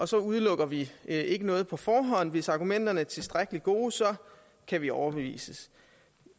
så udelukker vi ikke noget på forhånd og hvis argumenterne er tilstrækkelig gode kan vi overbevises